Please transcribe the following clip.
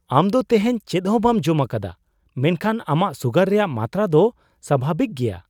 ᱟᱢ ᱫᱚ ᱛᱮᱦᱮᱧ ᱪᱮᱫ ᱦᱚᱸ ᱵᱟᱢ ᱡᱚᱢ ᱟᱠᱟᱫᱟ ᱢᱮᱱᱠᱷᱟᱱ ᱟᱢᱟᱜ ᱥᱩᱜᱟᱨ ᱨᱮᱭᱟᱜ ᱢᱟᱛᱨᱟ ᱫᱚ ᱥᱟᱵᱷᱟᱵᱤᱠ ᱜᱮᱭᱟ !